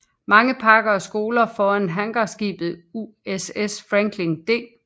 Mange parker og skoler foruden hangarskibet USS Franklin D